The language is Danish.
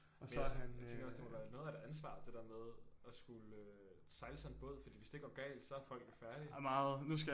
Men altså jeg tænker også det må være noget af et ansvar det der med at skulle øh sejle sådan en båd fordi hvis det går galt så er folk jo færdige